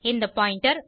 இந்த பாயிண்டர்